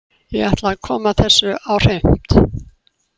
Ég ætla að koma þessu á hreint.